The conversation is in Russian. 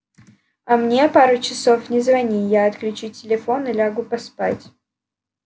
а мне пару часов не звони я отключу телефон и лягу поспать